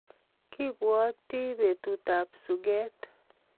Kipwoti betut ab suket